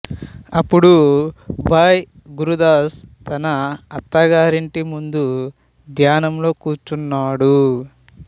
అప్పుడు భాయ్ గురుదాస్ తన అత్తగారి ఇంటి ముందు ధ్యానంలో కూర్చున్నాడు